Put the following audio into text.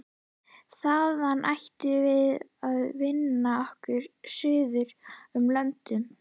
Þaðan ætluðum við að vinna okkur suður um löndin.